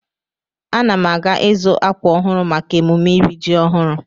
Ana m aga izu akwa ọhụrụ maka emume iri ji ọhụrụ.